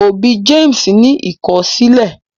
òbí James ni ikọsilẹ.